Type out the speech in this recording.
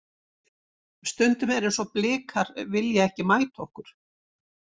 Stundum er eins og Blikar vilji ekki mæta okkur.